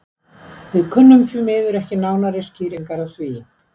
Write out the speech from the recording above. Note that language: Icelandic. Við kunnum því miður ekki nánari skýringar á því.